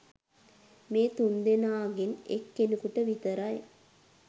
මේ තුන්දෙනාගෙන් එක් කෙනෙකුට විතරයි.